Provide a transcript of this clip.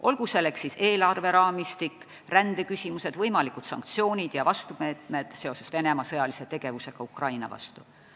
Olgu selleks siis eelarveraamistik, rändeküsimused, võimalikud sanktsioonid või vastumeetmed seoses Venemaa sõjalise tegevusega Ukraina vastu.